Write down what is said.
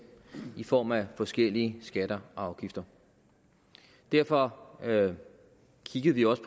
i form af forskellige skatter og afgifter derfor kiggede vi også